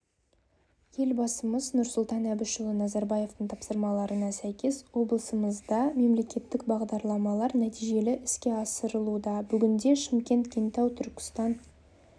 елбасымыз нұрсұлтан әбішұлы назарбаевтың тапсырмаларына сәйкес облысымызда мемлекеттік бағдарламалар нәтижелі іске асырылуда бүгінде шымкент кентау түркістан